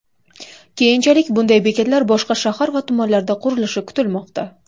Keyinchalik bunday bekatlar boshqa shahar va tumanlarda qurilishi kutilmoqda.